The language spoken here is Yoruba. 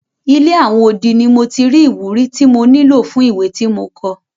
Ilé àwọn odi ni mo ti rí ìwúrí tí mo nílò fún ìwé tí mo kọ.